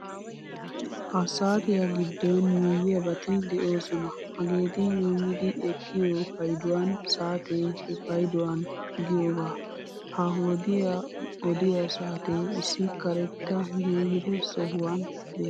Ha saatiya giddon yuuyyiyaabati de'oosona hageeti yuuyyidi eqqiyo payduwan satee he payduwan giyogaa. Ha wodiyan odiya saatee issi karetta geeyyida sohuwan beettes.